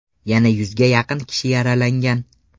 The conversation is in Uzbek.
Yana yuzga yaqin kishi yaralangan.